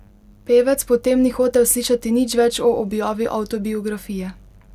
Pevec po tem ni hotel slišati nič več o objavi avtobiografije.